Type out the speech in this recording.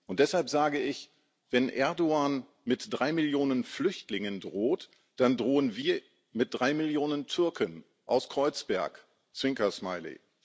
Und deshalb sage ich Wenn Erdoğan mit drei Millionen Flüchtlingen droht, dann drohen wir mit drei Millionen Türken aus Kreuzberg Zwinker Smiley.